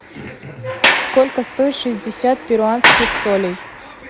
сколько стоит шестьдесят перуанских солей